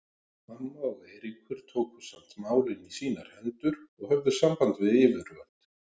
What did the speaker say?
Amma og Eiríkur tóku samt málin í sínar hendur og höfðu samband við yfirvöld.